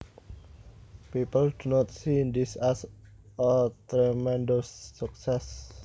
People do not see this as a tremendous success